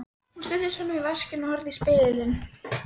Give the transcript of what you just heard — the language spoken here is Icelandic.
Hún studdist fram á vaskinn og horfði í spegilinn.